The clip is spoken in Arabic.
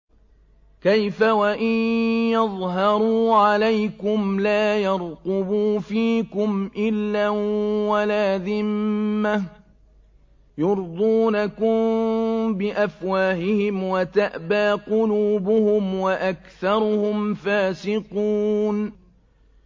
كَيْفَ وَإِن يَظْهَرُوا عَلَيْكُمْ لَا يَرْقُبُوا فِيكُمْ إِلًّا وَلَا ذِمَّةً ۚ يُرْضُونَكُم بِأَفْوَاهِهِمْ وَتَأْبَىٰ قُلُوبُهُمْ وَأَكْثَرُهُمْ فَاسِقُونَ